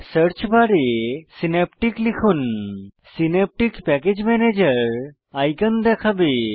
search বারে Synaptic লিখুন Synaptic package ম্যানেজের আইকন দেখাবে